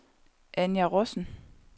Anja Rossen